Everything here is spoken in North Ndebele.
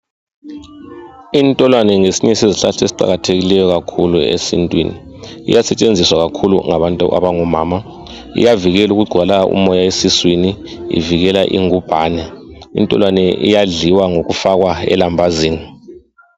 Intolwane ngesinye sezihlahla esiqakathekileyo kakhulu esintwini, iyasetshenziswa kakhulu ngabantu abangomama. Iyavikela ukungcwala umoya esiswini ivikela ingumbane. Intolwane idliwa ngokufakwa elambazini.